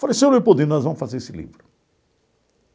Falei, seu Leopoldino nós vamos fazer esse livro.